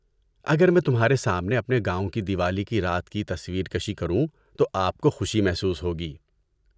اگر میں تمہارے سامنے اپنے گاؤں کی دیوالی کی رات کی تصویر کشی کروں تو آپ کو خوشی محسوس ہوگی۔